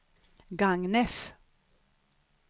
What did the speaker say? Gagnef